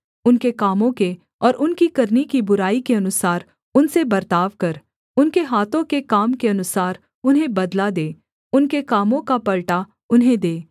उनके कामों के और उनकी करनी की बुराई के अनुसार उनसे बर्ताव कर उनके हाथों के काम के अनुसार उन्हें बदला दे उनके कामों का पलटा उन्हें दे